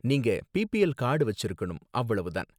நீங்க BPL card வச்சிருக்கணும், அவ்வளவு தான்